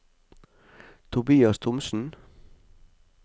Tobias Thomsen